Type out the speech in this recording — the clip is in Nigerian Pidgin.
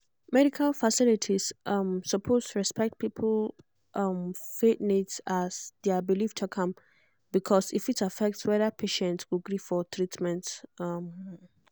medical facilities um suppose respect people um faith needs as their belief talk am because e fit affect whether patient go gree for treatment. um